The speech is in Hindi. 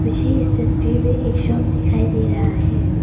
मुझे इस तस्वीर में एक शख्स दिखाई दे रहा है।